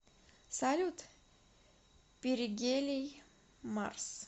салют перигелий марс